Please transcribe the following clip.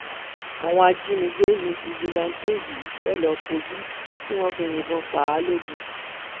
àwọn ajínigbé ní fíjìláǹtẹ yìí fẹẹ lọọ kójú tí wọn fi yìnbọn pa á logun